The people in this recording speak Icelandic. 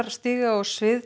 stíga á svið